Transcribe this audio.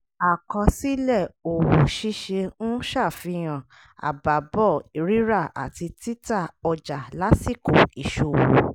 àkọsílẹ̀ òwò ṣíṣe ń ṣàfihàn àbábọ̀ rírà àti títà ọjà lásìkò ìṣòwò.